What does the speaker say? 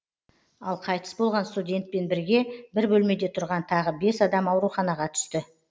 ал қайтыс болған студентпен бірге бір бөлмеде тұрған тағы бес адам ауруханаға түс